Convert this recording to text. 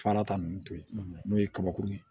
Farata nunnu to yen n'o ye kabakurun ye